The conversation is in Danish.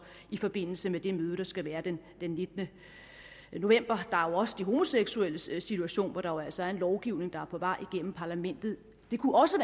i forbindelse med det møde der skal være den nittende november der er også de homoseksuelles situation hvor der jo altså er en lovgivning på vej gennem parlament det kunne også